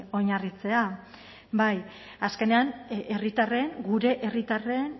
oinarritzea azkenean herritarren gure herritarren